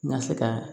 N ka se ka